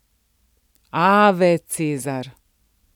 Ave, Cezar!